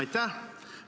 Aitäh!